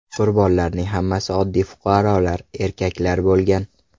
Qurbonlarning hammasi oddiy fuqarolar, erkaklar bo‘lgan.